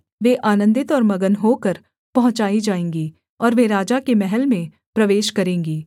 वे आनन्दित और मगन होकर पहुँचाई जाएँगी और वे राजा के महल में प्रवेश करेंगी